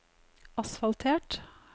asfaltert